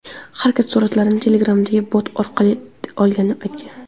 Harakat suratlarni Telegram’dagi bot orqali olganini aytgan.